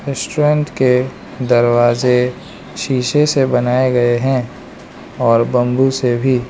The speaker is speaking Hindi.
स्ट्रेंथ के दरवाजे शीशे से बनाये गये हैं और बम्बू से भी।